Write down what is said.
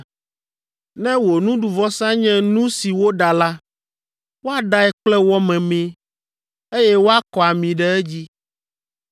Ne wò nuɖuvɔsa nye nu si woɖa la, woaɖae kple wɔ memee, eye woakɔ ami ɖe edzi.